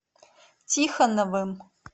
тихоновым